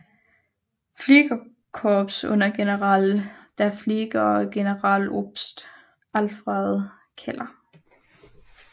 Fliegerkorps under General der Flieger Generaloberst Alfred Keller